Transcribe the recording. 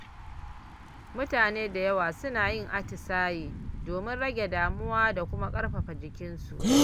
Mutane da yawa suna yin atisaye domin rage damuwa da kuma ƙarfafa jikinsu.